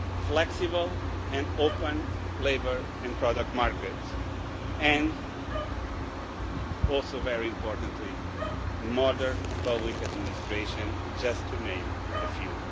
net, flexible and open labour and product markets and also very importantly modern public administration, just to name a few.